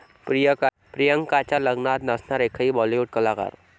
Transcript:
प्रियंकाच्या लग्नात नसणार एकही बॉलिवूड कलाकार